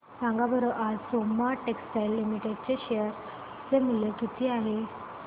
सांगा बरं आज सोमा टेक्सटाइल लिमिटेड चे शेअर चे मूल्य किती आहे